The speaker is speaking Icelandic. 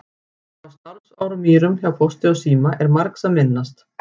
Frá starfsárum mínum hjá Pósti og síma er margs að minnast.